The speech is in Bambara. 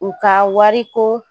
U ka wariko